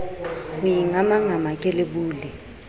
ho ingamangama ke le bule